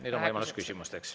Nüüd on võimalus küsimusteks.